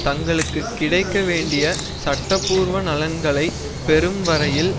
தங்களுக்கு கிடைக்க வேண்டிய சட்ட பூர்வ நலன்களை பெறும் வரையில்